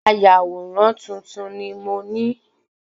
Ayàwòrán tuntun ni mó ni